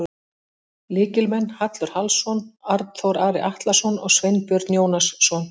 Lykilmenn: Hallur Hallsson, Arnþór Ari Atlason og Sveinbjörn Jónasson.